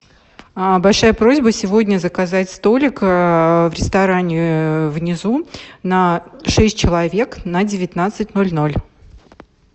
большая просьба сегодня заказать столик в ресторане внизу на шесть человек на девятнадцать ноль ноль